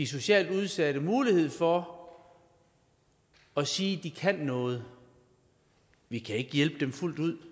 socialt udsatte mulighed for at sige at de kan noget vi kan ikke hjælpe dem fuldt ud